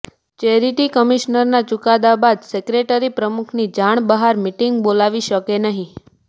charity કમિશનરના ચુકાદા બાદ સેક્રેટરી પ્રમુખની જાણ બહાર મીટિંગ બોલાવી શકે નહીં